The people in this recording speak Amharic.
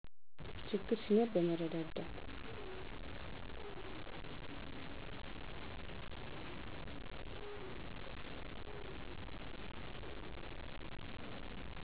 ችግሮች ሲኖር በመረዳዳት